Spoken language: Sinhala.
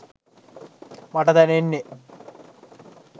මට දැනෙන්නේ.